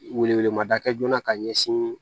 Wele wele ma da kɛ joona ka ɲɛsin